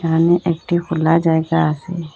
সামনে একটি খোলা জায়গা আসে।